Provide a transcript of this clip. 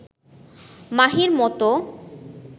মাহির মতো